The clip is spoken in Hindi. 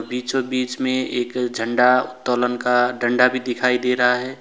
बीचो बीच में एक झंडा उतोलन डंडा भी दिखाई दे रहा है।